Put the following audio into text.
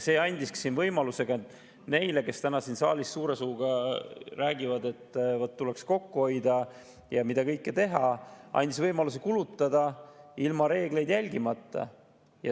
See andis võimaluse neile, kes täna siin saalis suure suuga räägivad, et tuleks kokku hoida ja mida kõike teha, kulutada ilma reegleid järgimata.